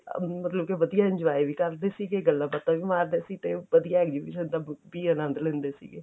ਮਤਲਬ ਕੇ ਵਧੀਆ enjoy ਵੀ ਕਰਦੇ ਸੀਗੇ ਗੱਲਾਂ ਬਾਤਾਂ ਵੀ ਮਾਰਦੇ ਸੀ ਤੇ ਉਹ ਵਧੀਆ exhibition ਦਾ ਵੀ ਆਨੰਦ ਲੈਂਦੇ ਸੀਗੇ